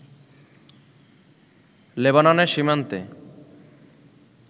লেবাননের সীমান্তে